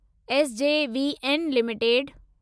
SJVN limited